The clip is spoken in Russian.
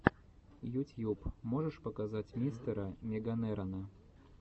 ютьюб можешь показать мистера меганерона